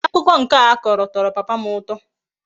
Akuko nke a Koro toro papa m uto